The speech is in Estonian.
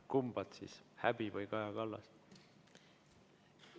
Kumba: häbi või Kaja Kallas?